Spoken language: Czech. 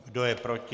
Kdo je proti?